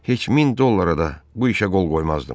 heç min dollara da bu işə qol qoymazdım.